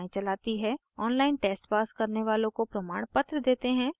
online test pass करने वालों को प्रमाणपत्र देते हैं